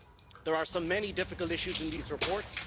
There are many difficult issues in these reports.